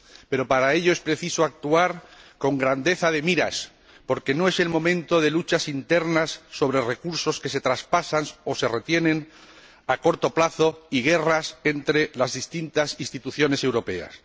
Pero para ello es preciso actuar con grandeza de miras, porque no es el momento de luchas internas sobre recursos que se traspasan o se retienen a corto plazo ni de guerras entre las distintas instituciones europeas.